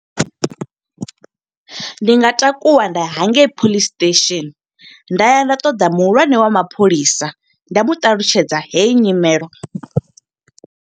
Ndi nga takuwa nda ya hangei police station, nda ya nda ṱoḓa muhulwane wa mapholisa. Nda mu ṱalutshedza heyi nyimelo.